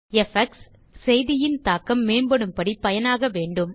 effects செய்தியின் தாக்கம் மேம்படும்படி பயனாக வேண்டும்